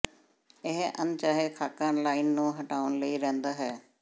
ਇਹ ਅਣਚਾਹੇ ਖ਼ਾਕਾ ਲਾਈਨ ਨੂੰ ਹਟਾਉਣ ਲਈ ਰਹਿੰਦਾ ਹੈ